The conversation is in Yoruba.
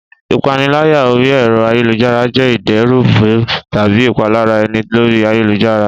Ìpaniláyà orí ẹ̀rọ ayélujára jé ìdẹ́rùbù tàbí ìpalára ènìyàn lórí ayélujára